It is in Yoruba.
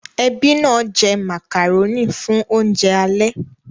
Ẹbí náà jẹ màkàrónì fún oúnjẹ alẹ́